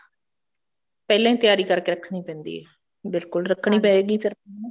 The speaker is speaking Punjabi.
ਪਹਿਲਾਂ ਹੀ ਤਿਆਰੀ ਕਰਕੇ ਰੱਖਣੀ ਪੈਂਦੀ ਹੈ ਬਿਲਕੁਲ ਰੱਖਣੀ ਪਏਗੀ ਫੇਰ ਹਨਾ